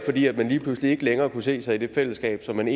lige pludselig ikke længere kunne se sig i det fællesskab som man